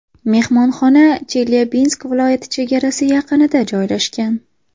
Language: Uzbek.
Mehmonxona Chelyabinsk viloyati chegarasi yaqinida joylashgan.